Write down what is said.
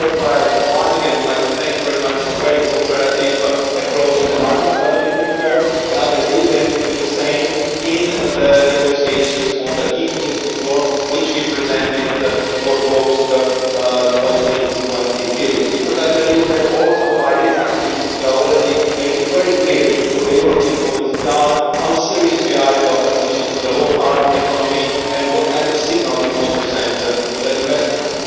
Therefore, once again I would like to thank you very much for a very cooperative approach on the market stability reserve. I believe that it will be the same in the negotiations on the ETS reform, which we presented for the post 2020 period, because I believe that also by these activities we are already making very clear what the European policies are, how serious we are about a transition to the low-carbon economy and what kind of signals we want to send to investors.